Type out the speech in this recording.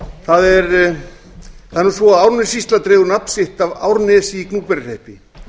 það er nú svo að árnessýsla dregur nafn sitt af árnesi í gnúpverjahreppi